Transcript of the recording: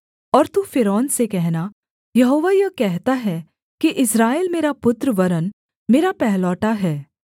और तू फ़िरौन से कहना यहोवा यह कहता है कि इस्राएल मेरा पुत्र वरन् मेरा पहिलौठा है